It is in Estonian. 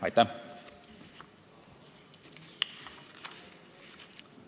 Aitäh!